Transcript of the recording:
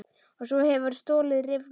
Og svo hefurðu stolið riffli!